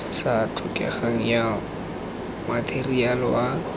sa tlhokegeng ya matheriale wa